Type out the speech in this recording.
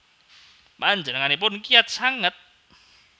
Panjenenganipun kiyat sanget